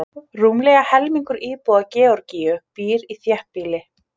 Rúmlega helmingur íbúa Georgíu býr í þéttbýli.